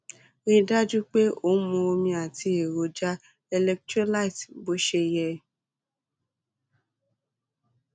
rí i dájú pé ò ń mu omi àti èròjà electrolyte bó ṣe yẹ